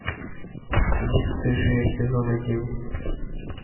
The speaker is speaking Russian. бесстыжие сезон один